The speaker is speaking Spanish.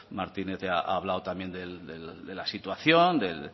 martínez ya ha hablado también de la situación de